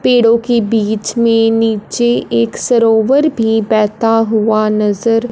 पेड़ो की बीच मे नीचे एक सरोवर भी बहता हुआ नज़र--